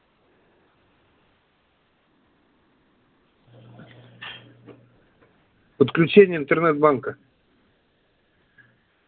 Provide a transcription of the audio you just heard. подключение интернет банка